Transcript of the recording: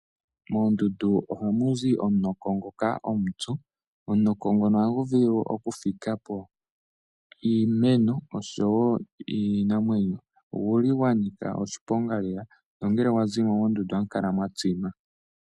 Koomdund ohaku zi omunoko ngoka omutsu. Omunoko ngoka ohagu vulu okufikapo iimeno oshowo iinamwenyo. Oguli gwanika oshiponga lela nongele wazimo moondundu ohamu kala mwatsima.